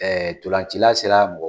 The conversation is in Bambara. ntolancila sera mɔgɔ